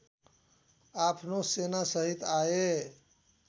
आफ्नो सेनासहित आए